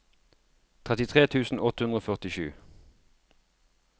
trettitre tusen åtte hundre og førtisju